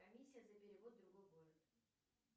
комиссия за перевод в другой город